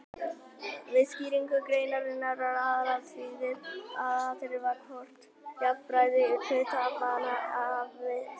Við skýringu greinarinnar er aðalatriðið það hvort jafnræði hluthafanna hafi verið skert.